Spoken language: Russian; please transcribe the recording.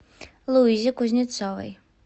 луизе кузнецовой